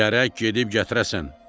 Gərək gedib gətirəsən.